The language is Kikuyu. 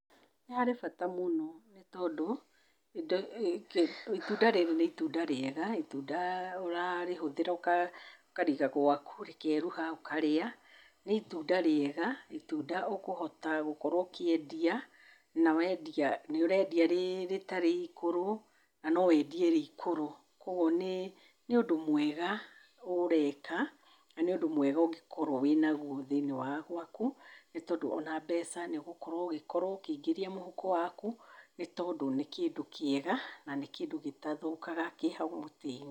Nĩ harĩ bata mũno nĩ tondũ, itunda rĩrĩ nĩ itunda rĩega. Itunda ũrarĩhũthĩra, ũkarĩiga gwaku rĩkeeruha, ũkarĩa. Nĩ itunda rĩega, itunda ũkũhota gũkorwo ũkĩendia, na wendia nĩ ũreendia rĩtarĩ ikũrũ na no wendie rĩ ikũrũ. Kwoguo nĩ nĩ ũndũ mwega ũreka, na nĩ ũndũ mwega ũngĩkorwo wĩna guo thĩinĩ wa gwaku. Nĩ tondũ o na mbeca nĩ ũgũkorwo ũgĩkorwo ũkĩingĩria mũhuko waku, nĩ tondũ nĩ kĩndũ kĩega na nĩ kĩndũ gĩtathũkaga kĩ hau mũtĩ-inĩ.